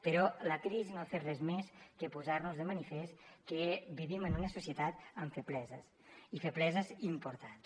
però la crisi no ha fet res més que posar nos de manifest que vivim en una societat amb febleses i febleses importants